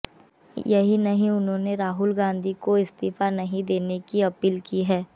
यही नहीं उन्होंने राहुल गांधी को इस्तीफा नहीं देने की अपील की है